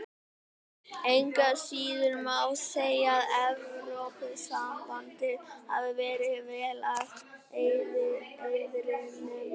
Engu að síður má segja að Evrópusambandið hafi verið vel að heiðrinum komið.